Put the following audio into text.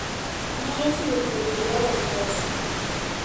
ji nyalo chulo thieth e yor mpesa